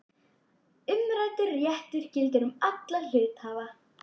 Umræddur réttur gildir um alla hluthafa.